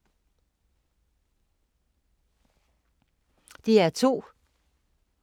DR2